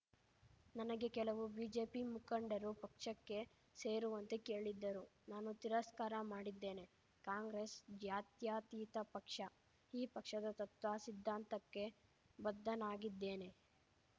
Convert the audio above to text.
ನನಗೆ ಕೆಲವು ಬಿಜೆಪಿ ಮುಖಂಡರು ಪಕ್ಷಕ್ಕೆ ಸೇರುವಂತೆ ಕೇಳಿದ್ದರು ನಾನು ತಿರಸ್ಕಾರ ಮಾಡಿದ್ದೇನೆ ಕಾಂಗ್ರೆಸ್‌ ಜಾತ್ಯತೀತ ಪಕ್ಷ ಈ ಪಕ್ಷದ ತತ್ವ ಸಿದ್ಧಾಂತಕ್ಕೆ ಬದ್ದನಾಗಿದ್ದೇನೆ